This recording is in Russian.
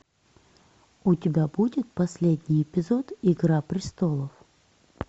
у тебя будет последний эпизод игра пристолов